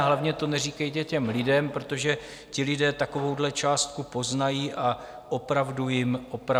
A hlavně to neříkejte těm lidem, protože ti lidé takovouhle částku poznají a opravdu jim pomáhá.